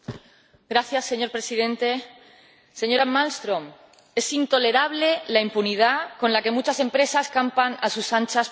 Señor Presidente, señora Malmström, es intolerable la impunidad con la que muchas empresas campan a sus anchas por el mundo.